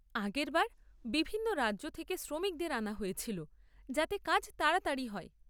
আগের বার বিভিন্ন রাজ্য থেকে শ্রমিকদের আনা হয়েছিল যাতে কাজ তাড়াতাড়ি হয়।